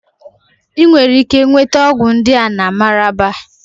Ị nwere ike nweta ọgwụ ndị a na Mararaba